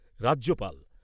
রাজ্যপাল